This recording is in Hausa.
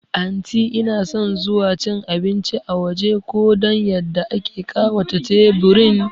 Anti inason zuwa cin abinci a waje ko dan yadda ake ƙawata teburin